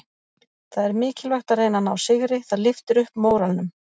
Það er mikilvægt að reyna að ná sigri, það lyftir upp móralnum.